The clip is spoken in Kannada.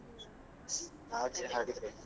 ಹಾಗೆ ಹಾಗೆ.